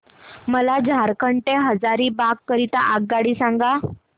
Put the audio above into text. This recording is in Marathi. मला झारखंड से हजारीबाग करीता आगगाडी सांगा